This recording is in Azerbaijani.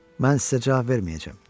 Mən sizə cavab verməyəcəm.